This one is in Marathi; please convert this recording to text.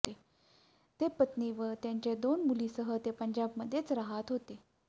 ते पत्नी व त्यांच्या दोन मुलींसह ते पंजाबमध्येच राहत होते